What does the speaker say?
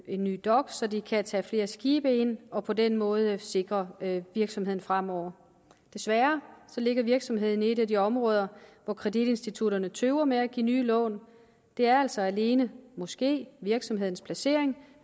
en ny dok så de kan tage flere skibe ind og på den måde sikre virksomheden fremover desværre ligger virksomheden i et af de områder hvor kreditinstitutterne tøver med at give nye lån det er altså alene måske virksomhedens placering